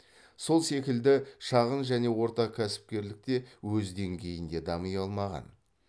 сол секілді шағын және орта кәсіпкерлік те өз деңгейінде дами алмаған